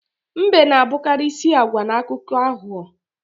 Mbe na-abụkarị isi agwa na akụkọ aghụghọ